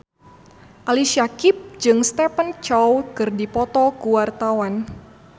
Ali Syakieb jeung Stephen Chow keur dipoto ku wartawan